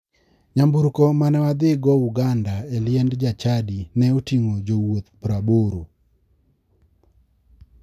Nyamburko mane wadhio uganda e liend jachadi ne ting'o jowuoth 80.